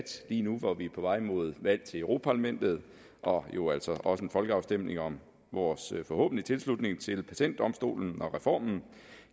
lige nu hvor vi er på vej mod valg til europa parlamentet og jo altså også en folkeafstemning om vores forhåbentlige tilslutning til patentdomstolen og reformen